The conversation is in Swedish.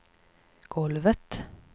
golvet